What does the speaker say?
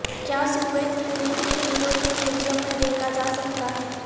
کیا Soviet Union کے hero کے میوزیم میں دیکھا جا سکتا ہے